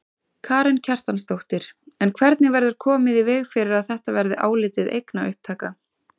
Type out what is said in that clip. Karen Kjartansdóttir: En hvernig verður komið í veg fyrir að þetta verði álitið eignaupptaka?